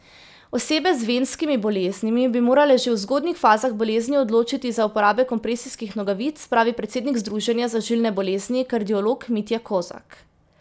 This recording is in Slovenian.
Osebe z venskimi boleznimi bi morale že v zgodnjih fazah bolezni odločiti za uporabo kompresijskih nogavic, pravi predsednik združenja za žilne bolezni, kardiolog Mitja Kozak.